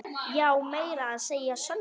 Já, meira að segja Sonja.